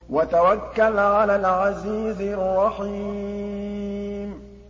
وَتَوَكَّلْ عَلَى الْعَزِيزِ الرَّحِيمِ